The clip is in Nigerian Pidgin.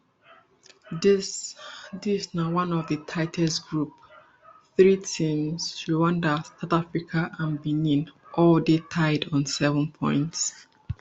dis dis na one of di tightest groups three teams rwanda south africa and benin all dey tied on seven points